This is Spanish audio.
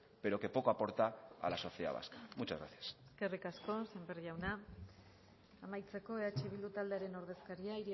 pero que poco aporta a la sociedad vasca muchas gracias eskerrik asko sémper jauna amaitzeko eh bildu taldearen ordezkaria